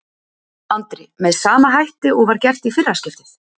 Andri: Með sama hætti og var gert í fyrra skiptið?